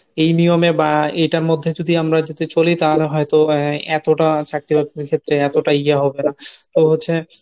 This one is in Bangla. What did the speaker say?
এই নিয়মে বা এটার মধ্যে যদি আমরা যদি চলি তাহলে হয়তো আহ এতটা চাকরি বকরীর ক্ষেত্রে এতটা ইএ হবে না। তো হচ্ছে